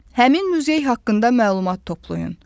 Həmin muzey haqqında məlumat toplayın.